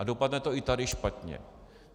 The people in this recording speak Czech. A dopadne to i tady špatně.